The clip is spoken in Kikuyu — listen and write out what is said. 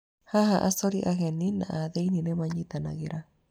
Haha, acori ageni na a thĩinĩ nĩ manyitanagĩra.